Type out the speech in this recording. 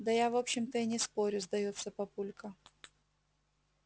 да я в общем-то и не спорю сдаётся папулька